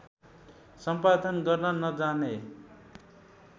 सम्पादन गर्न नजाने